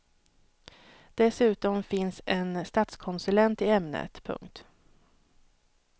Dessutom finns en statskonsulent i ämnet. punkt